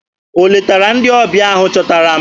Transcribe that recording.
O letara ndị ọbịa ahụ chọtara m?